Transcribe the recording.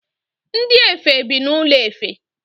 Ndi efe bi n’ụlọ efe